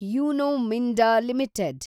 Uno Minda limited